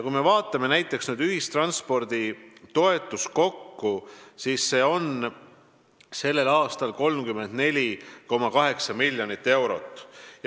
Kui me vaatame näiteks ühistransporditoetuse summat kokku, siis see on sel aastal 34,8 miljonit eurot.